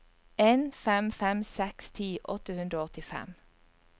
en fem fem seks ti åtte hundre og åttifem